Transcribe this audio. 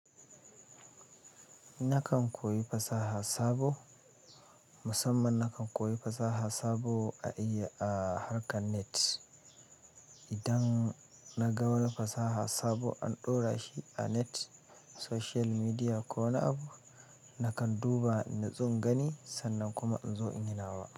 Nakan koyi fasaha sabo, musamman nakan koyi fasaha sabo a iya-- a harkan net. Idan na ga wani fasaha sabo an ɗora shi a net, social media ko wani abu, nakan duba in natsu in gani sannan kuma in zo in yi nawa.